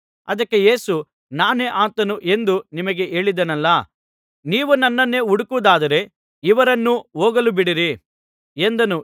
ಅದಕ್ಕೆ ಯೇಸು ನಾನೇ ಆತನು ಎಂದು ನಿಮಗೆ ಹೇಳಿದೆನಲ್ಲಾ ನೀವು ನನ್ನನ್ನೇ ಹುಡುಕುವುದಾದರೆ ಇವರನ್ನು ಹೋಗಲುಬಿಡಿರಿ ಎಂದನು